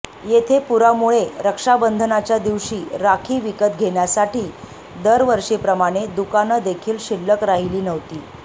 येथे पुरामुळे रक्षाबंधनच्या दिवशी राखी विकत घेण्यासाठी दरवर्षीप्रमाणे दुकानं देखील शिल्लक राहीली नव्हती